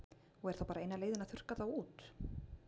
Og er þá bara eina leiðin að þurrka þá út?